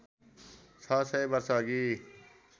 ६ सय वर्षअघि